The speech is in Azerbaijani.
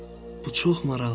Bu çox maraqlıdır.